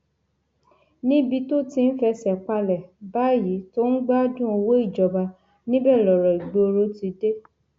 níbi tó ti ń fẹsẹ palẹ báyìí tó ń gbádùn owó ìjọba níbẹ lọrọ ìgboro ti dé